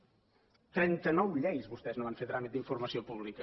en trenta nou lleis vostès no van fer tràmit d’informació pública